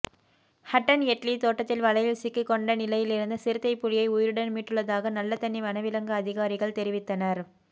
ஹட்டன் எட்லி தோட்டத்தில் வலையில் சிக்குண்ட நிலையில் இருந்த சிறுத்தை புலியை உயிருடன் மீட்டுள்ளதாக நல்லதண்ணி வனவிலங்கு அதிகாரிகள் தெரிவித்தனர்